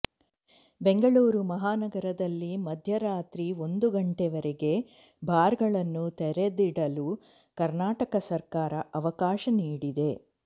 ಬೆಂಗಳೂರು ಮಹಾನಗರದಲ್ಲಿ ಮಧ್ಯ ರಾತ್ರಿ ಒಂದು ಗಂಟೆವರೆಗೆ ಬಾರ್ ಗಳನ್ನು ತೆರೆದಿಡಲು ಕರ್ನಾಟಕ ಸರ್ಕಾರ ಅವಕಾಶ ನೀಡಿದೆ